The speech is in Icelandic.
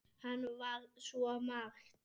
Hann var svo margt.